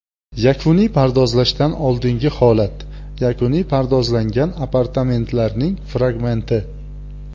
Yakuniy pardozlashdan oldingi holat: Yakuniy pardozlangan apartamentlarning fragmenti.